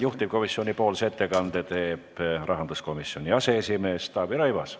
Juhtivkomisjoni ettekande teeb rahanduskomisjoni aseesimees Taavi Rõivas.